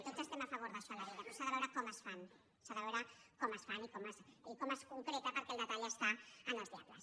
tots estem a favor d’això a la vida però s’ha de veure com es fan s’ha de veure com es fan i com es concreta perquè el detall està en els diables